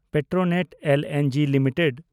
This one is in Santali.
Petronet LNG limited